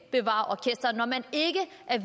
er